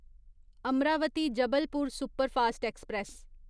Amravati Jabalpur superfast express